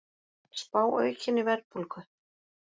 Spá aukinni verðbólgu